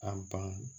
A ban